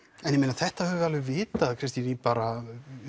en ég meina þetta höfum við vitað Kristín í bara